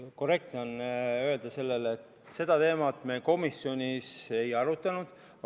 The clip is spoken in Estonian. Korrektne oleks öelda vastuseks, et seda teemat me komisjonis ei arutanud.